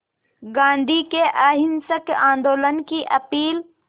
गांधी के अहिंसक आंदोलन की अपील